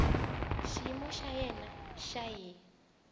xiyimo xa yena xa hiv